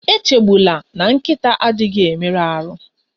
Echegbula na nkịta adịghị emerụ ahụ